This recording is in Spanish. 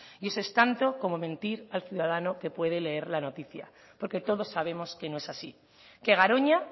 y eso es tanto como mentir al ciudadano que puede leer la noticia porque todos sabemos que no es así que garoña